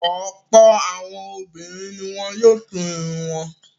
Ọ̀pọ̀ àwọn obìnrin ni wọ́n yóò tú irun wọn.